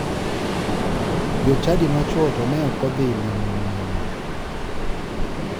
Jochadi machuo to ne ok odhi limo miyono.